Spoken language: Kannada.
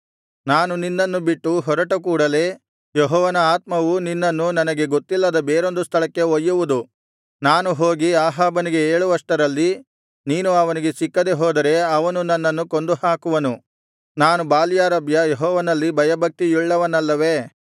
ನಾನು ನಿನ್ನನ್ನು ಬಿಟ್ಟು ಹೊರಟ ಕೂಡಲೆ ಯೆಹೋವನ ಆತ್ಮವು ನಿನ್ನನ್ನು ನನಗೆ ಗೊತ್ತಿಲ್ಲದ ಬೇರೊಂದು ಸ್ಥಳಕ್ಕೆ ಒಯ್ಯುವುದು ನಾನು ಹೋಗಿ ಅಹಾಬನಿಗೆ ಹೇಳುವಷ್ಟರಲ್ಲಿ ನೀನು ಅವನಿಗೆ ಸಿಕ್ಕದೆ ಹೋದರೆ ಅವನು ನನ್ನನ್ನು ಕೊಂದು ಹಾಕುವನು ನಾನು ಬಾಲ್ಯಾರಭ್ಯ ಯೆಹೋವನಲ್ಲಿ ಭಯಭಕ್ತಿಯುಳ್ಳವನಲ್ಲವೇ